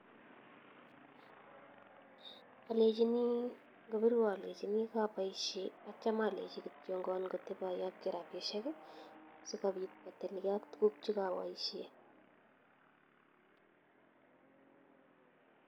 Ngobirwa alechinii kabaishe atya alechii kotep ayachii rapisiek so kopit kotil kee ak tuguk chekabaishe